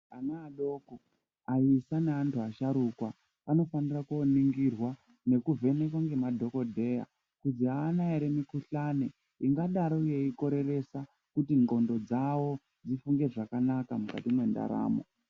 Ana adoko, aisa, neantu asharukwa anofanira koningirwa nekuvhenekwa ngema dhokodheya kuzi aana ere mikuhlani ingadaro yeikoreresa kuti nhlondo dzawo dzifunge zvakanaka mukati mendaramo.